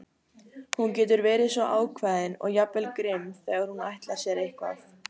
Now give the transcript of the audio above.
Hún getur verið svo ákveðin og jafnvel grimm þegar hún ætlar sér eitthvað.